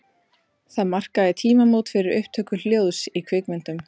Það markaði tímamót fyrir upptöku hljóðs í kvikmyndum.